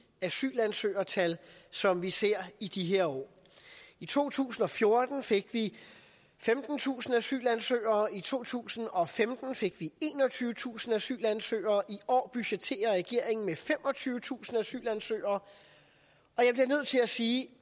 asylansøgertal som vi ser i de her år i to tusind og fjorten fik vi femtentusind asylansøgere i to tusind og femten fik vi enogtyvetusind asylansøgere i år budgetterer regeringen med femogtyvetusind asylansøgere og til at sige at